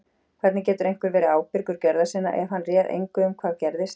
Hvernig getur einhver verið ábyrgur gjörða sinna ef hann réð engu um hvað gerðist?